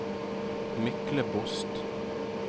Myklebost